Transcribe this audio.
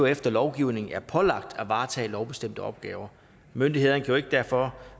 efter lovgivningen er pålagt at varetage lovbestemte opgaver myndighederne kan derfor